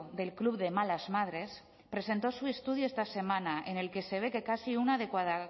del club de malasmadres presentó su estudio esta semana en el que se ve que casi una